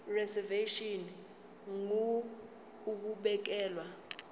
reservation ngur ukubekelwa